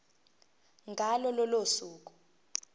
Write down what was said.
ngalo lolo suku